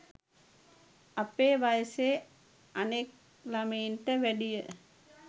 අපේ වයසෙ අනෙක් ළමයින්ට වැඩිය